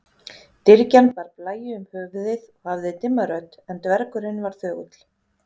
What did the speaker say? Dyrgjan bar blæju um höfuðið og hafði dimma rödd en dvergurinn var þögull.